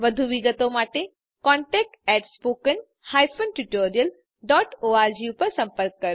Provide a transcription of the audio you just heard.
વધુ વિગતો માટે contactspoken tutorialorg પર સંપર્ક કરો